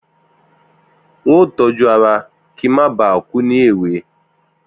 N óò tójú ara kí n má ba à kú ní èwe.